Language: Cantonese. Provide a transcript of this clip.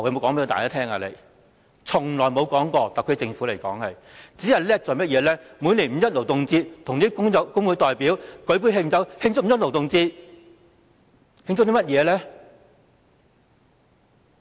特區政府從來沒有說過，只懂得在每年五一勞動節與工會代表舉杯慶祝，慶祝甚麼呢？